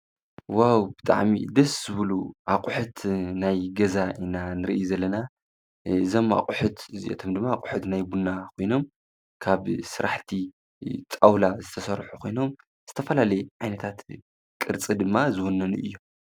ዋው! ብዋዕሚ ደደስ ዝብሉ ኣቁሑት ናይ ገዛ ንሪኢ ዘለና እዞም ኣቁሑት እዚኣቶም ድማ ኣቅሑት ናይ ቡና ኮይኖም ብስራሕቲ ጣውላ ዝተሰርሑ ኮይኖም ዝተፈላለዩ ቅርፂ ዓይነታት ድማ ዝውንኑ እዬም።